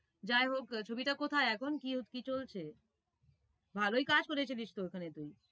যাই হোক ছবিটা কথায় এখন কি, কি চলছে? ভালোই কাজ করেছিলিস তো ওখানে তুই।